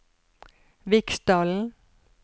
Viksdalen